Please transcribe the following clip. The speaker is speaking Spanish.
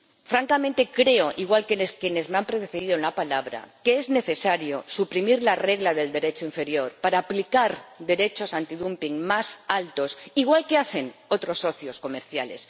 Francamente, creo —igual que quienes me han precedido en la palabra— que es necesario suprimir la regla del derecho inferior para aplicar derechos antidumping más altos, igual que hacen otros socios comerciales.